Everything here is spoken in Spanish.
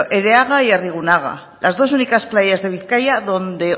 ereaga y arrigunaga las dos únicas playas de bizkaia donde